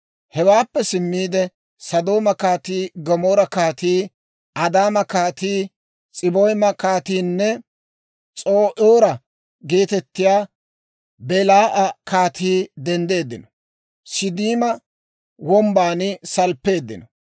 Hewaappe simmiide, Sodooma kaatii, Gamoora kaatii, Addaama kaatii, S'aboyma kaatiinne (S'oo'aaro geetettiyaa) Belaa'a kaatii denddeeddino; Siiddima Wombban salppeeddino.